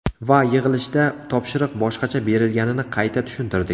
Va yig‘ilishda topshiriq boshqacha berilganini qayta tushuntirdik.